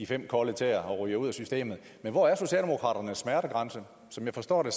fem kolde tæer og ryger ud af systemet men hvor er socialdemokraternes smertegrænse som jeg forstår det